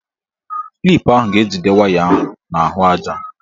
Klip ahụ ga-ejide waya ahụ n'ahụaja.